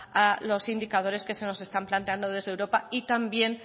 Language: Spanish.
a los indicadores que se nos están planteando desde europa y también